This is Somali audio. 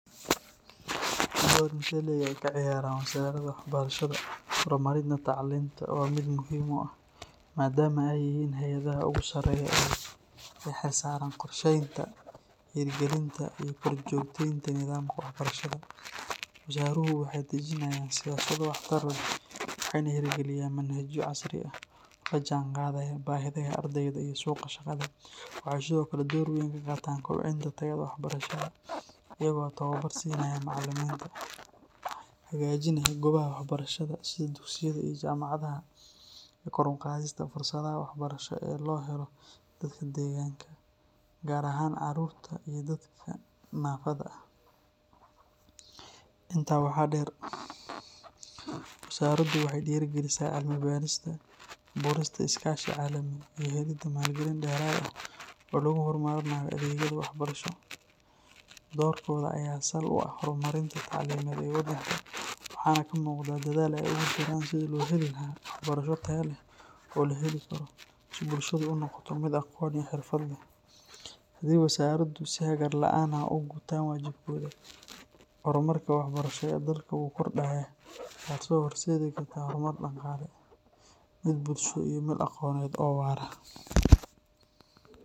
Doru intee le’eg ay ka ciyaaraan wasaaradaha waxbarashada horumarinta tacliinta waa mid aad muhiim u ah, maadaama ay yihiin hay’adaha ugu sarreeya ee u xilsaaran qorsheynta, hirgelinta iyo korjoogtaynta nidaamka waxbarashada. Wasaaraduhu waxay dejinayaan siyaasado waxtar leh, waxayna hirgeliyaan manhajyo casri ah oo la jaanqaadaya baahiyaha ardayda iyo suuqa shaqada. Waxay sidoo kale door weyn ka qaataan kobcinta tayada waxbarashada iyagoo tababar siinaya macallimiinta, hagaajinaya goobaha waxbarashada sida dugsiyada iyo jaamacadaha, iyo kor u qaadista fursadaha waxbarasho ee loo helo dadka deegaanka, gaar ahaan caruurta iyo dadka naafada ah. Intaa waxaa dheer, wasaaraddu waxay dhiirrigelisaa cilmi-baarista, abuurista iskaashi caalami ah iyo helidda maalgelin dheeraad ah oo lagu horumarinayo adeegyada waxbarasho. Doorkooda ayaa sal u ah horumarka tacliimeed ee waddanka, waxaana ka muuqda dadaal ay ugu jiraan sidii loo heli lahaa waxbarasho tayo leh oo la heli karo, si bulshadu u noqoto mid aqoon iyo xirfad leh. Haddii wasaaraddu si hagar la’aan ah u gutaan waajibaadkooda, horumarka waxbarasho ee dalka wuu kordhaya, taasoo horseedi karta horumar dhaqaale, mid bulsho iyo mid aqooneed oo waara.